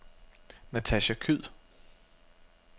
Natacha Kyed